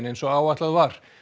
eins og áætlað var